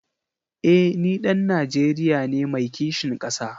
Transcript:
Eh ni ɗan Najeriya ne mai kishin ƙasa.